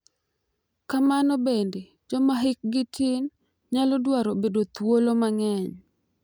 Kamano bende, joma hikgi tin nyalo dwaro bedo thuolo mang’eny, .